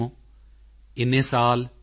ਹੋ ਐਨੇ ਸਾਲ ਸੀ